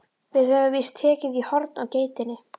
Við höfum víst tekið í horn á geitinni.